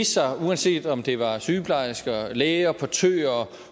sig uanset om det var sygeplejersker læger portører